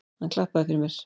Hann klappaði fyrir mér.